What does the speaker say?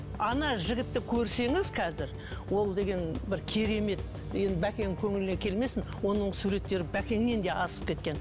ана жігітті көрсеңіз қазір ол деген бір керемет енді бәкеңнің көңіліне келмесін оның суреттері бәкеңнен де асып кеткен